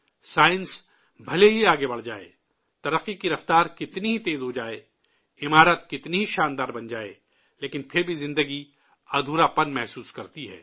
science بھلے ہی آگے بڑھ جائے، ترقی کی رفتار کتنی ہی تیز ہو جائے، عمارت کتنی ہی عالیشان بن جائے، لیکن پھر بھی زندگی ادھوراپن محسوس کرتی ہے